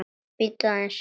Bíddu aðeins